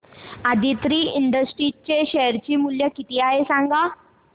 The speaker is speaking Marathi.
आदित्रि इंडस्ट्रीज चे शेअर मूल्य किती आहे सांगा